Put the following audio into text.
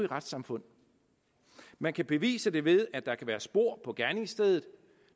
retssamfund man kan bevise det ved at der kan være spor på gerningsstedet